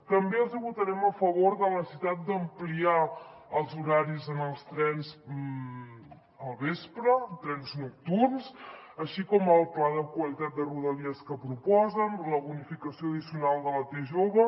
també els hi votarem a favor de la necessitat d’ampliar els horaris en els trens al vespre trens nocturns així com el pla de qualitat de rodalies que proposen la bonificació addicional de la t jove